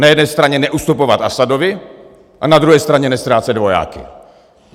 Na jedné straně neustupovat Asadovi a na druhé straně neztrácet vojáky.